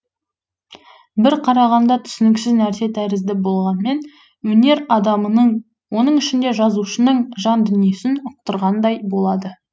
бір қарағанда түсініксіз нәрсе тәрізді болғанмен өнер адамының оның ішінде жазушының жан дүниесін ұқтырғандай болады